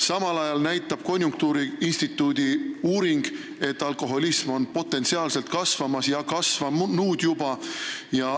Samal ajal näitab konjunktuuriinstituudi uurimus, et potentsiaalselt on alkoholism kasvamas ja juba kasvanud.